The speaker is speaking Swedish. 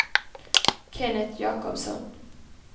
Kenneth Jakobsson